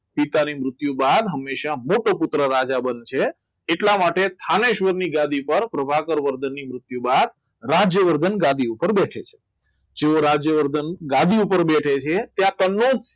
પિતાની મૃત્યુ બાદ હંમેશા મોટો પુત્ર રાજા બનશે એટલા માટે જ સ્થાનેશ્વરની ગાદી પર પ્રભાકર વર્તનની મૃત્યુ બાદ રાજ્યવર્ધન ગાદી ઉપર બેસે જેવો રાજ્યવર્ધન ગાડી ઉપર બેસે છે ત્યાં કનોજ